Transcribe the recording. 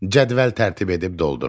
Cədvəl tərtib edib doldurun.